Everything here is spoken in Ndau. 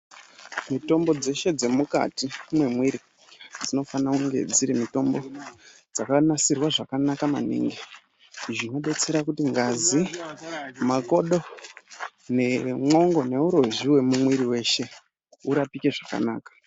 Mitombo dzeshe dzemukati mwemwiri dzinofanire kunge dziri mitombo dzakanasirwa zvakanaka maningi zvinodetsera kuti ngazi makodo nemwongo neurozvi wemwiri weshe urapwe zvakanaka.